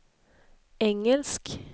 engelsk